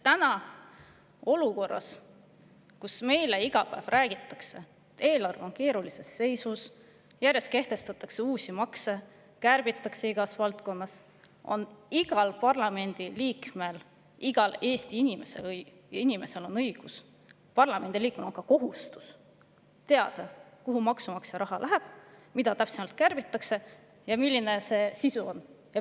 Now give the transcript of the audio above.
Praeguses olukorras, kus meile räägitakse iga päev sellest, et eelarve on keerulises seisus, ning kehtestatakse järjest uusi makse ja kärbitakse igas valdkonnas, on igal Eesti inimesel ja igal parlamendiliikmel õigus – parlamendiliikmel on lausa kohustus – teada, kuhu maksumaksja raha läheb, mida täpsemalt kärbitakse ja milline on sisu.